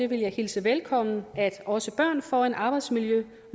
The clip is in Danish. vil hilse velkommen at også børn får en arbejdsmiljølov